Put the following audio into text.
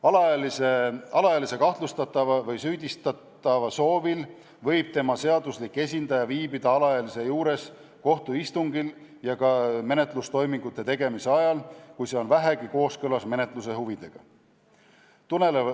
Alaealise kahtlustatava või süüdistatava soovil võib tema seaduslik esindaja viibida alaealise juures nii kohtuistungil kui ka menetlustoimingute tegemise ajal, kui see on vähegi kooskõlas menetluse huvidega.